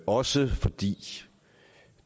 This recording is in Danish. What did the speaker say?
også fordi